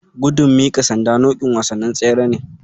Gudun miƙa sanda nau'in wasannin tsere ne.